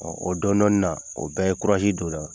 o dɔni dɔni na o bɛɛ ye don n na.